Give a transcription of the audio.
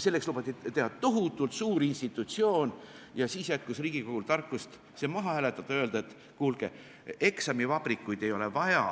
Selleks lubati teha tohutult suur institutsioon ja siis jätkus Riigikogul tarkust see maha hääletada ja öelda, et kuulge, eksamivabrikuid ei ole vaja,